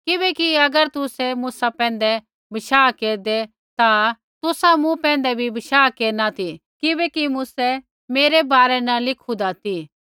किबैकि अगर तुसै मूसा पैंधै बशाह केरदै ता तुसा मूँ पैंधै भी बशाह केरना ती किबैकि मूसै मेरै बारै न लिखून्दा ती